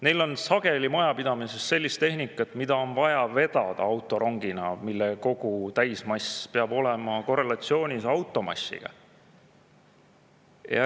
Neil on sageli majapidamises sellist tehnikat, mida on vaja vedada autorongina, mille kogu täismass peab olema korrelatsioonis auto massiga.